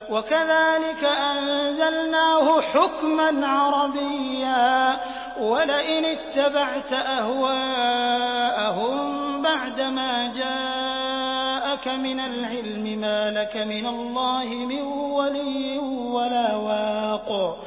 وَكَذَٰلِكَ أَنزَلْنَاهُ حُكْمًا عَرَبِيًّا ۚ وَلَئِنِ اتَّبَعْتَ أَهْوَاءَهُم بَعْدَمَا جَاءَكَ مِنَ الْعِلْمِ مَا لَكَ مِنَ اللَّهِ مِن وَلِيٍّ وَلَا وَاقٍ